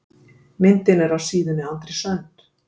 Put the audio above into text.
Myndin er af síðunni Andrés Önd.